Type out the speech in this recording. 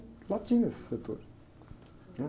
Lá tinha esse setor, né?